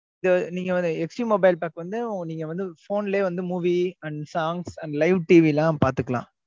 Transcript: இத நீங்க ஒரு HD mobile pack வந்து நீங்க வந்து phone லயே வந்து movie and songs and live TV லாம் பாத்துக்கலாம்.